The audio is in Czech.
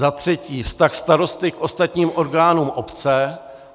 Za třetí - vztah starosty k ostatním orgánům obce.